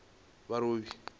marobi